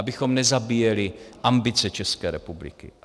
Abychom nezabíjeli ambice České republiky.